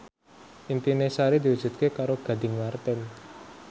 impine Sari diwujudke karo Gading Marten